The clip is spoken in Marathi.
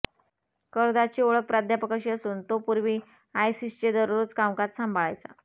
कर्दाशची ओळख प्राध्यापक अशी असून तो पूर्वी आयसीसचे दररोजचे कामकाज सांभाळायचा